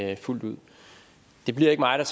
jeg fuldt ud det bliver ikke mig der